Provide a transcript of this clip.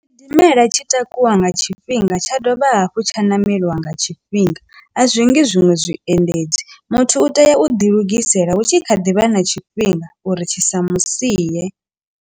Tshidimela tshi takuwa nga tshifhinga tsha dovha hafhu tsha ṋameliwa nga tshifhinga a zwingi zwiṅwe zwiendedzi muthu u tea u ḓi lugisela hu tshi kha ḓivha na tshifhinga uri tshi sa musi siye.